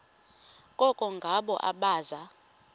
koko ngabo abaza